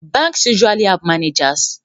Banks usually have managers